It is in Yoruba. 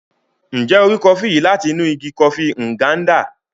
Njẹ o rí kọfi yìí láti inú ìgi kọfi Nganda?